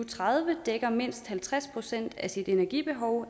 tredive dækker mindst halvtreds procent af sit energibehov